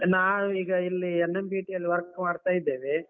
ನಾವು ಈಗ ಇಲ್ಲಿ NMBT ಯಲ್ಲಿ work ಮಾಡ್ತಾ ಇದ್ದೇವೆ.